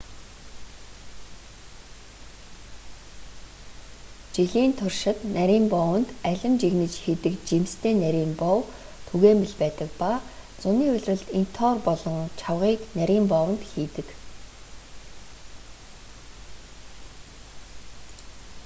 жилийн туршид нарийн боовонд алим жигнэж хийдэг жимстэй нарийн боов түгээмэл байдаг ба зуны улиралд интоор болон чавгыг нарийн боовонд хийдэг